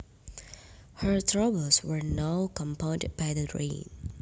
Her troubles were now compounded by the rain